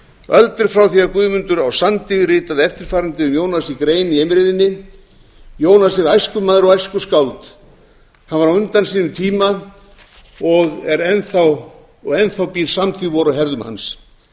öld er liðin frá því að guðmundur á sandi ritaði eftirfarandi um jónas í grein í eimreiðinni jónas er æskumaður og æskuskáld hann var á undan tíma sínum og enn þá stendur samtíð vor á herðum hans